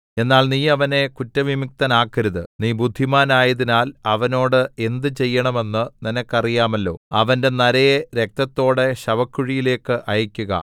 എന്നാൽ നീ അവനെ കുറ്റവിമുക്തനാക്കരുത് നീ ബുദ്ധിമാനായതിനാൽ അവനോട് എന്ത് ചെയ്യേണമെന്ന് നിനക്ക് അറിയാമല്ലോ അവന്റെ നരയെ രക്തത്തോടെ ശവക്കുഴിയിലേക്ക് അയക്കുക